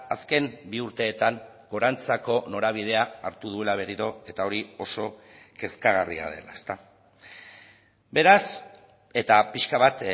azken bi urteetan gorantzako norabidea hartu duela berriro eta hori oso kezkagarria dela beraz eta pixka bat